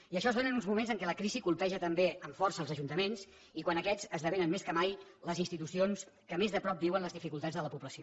i això es dóna en uns moments en què la crisi colpeja també amb força els ajuntaments i quan aquests esdevenen més que mai les institucions que més de prop viuen les dificultats de la població